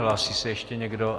Hlásí se ještě někdo?